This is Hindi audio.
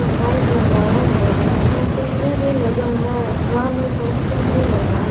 बल्ब लगाया हुआ है और टी_वी भी लगा है दीवार में पोस्टर भी लगा--